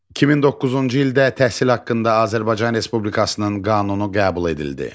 2009-cu ildə təhsil haqqında Azərbaycan Respublikasının qanunu qəbul edildi.